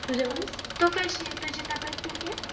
तू जेवलीस तू काशीयास तुझी तब्बेत अ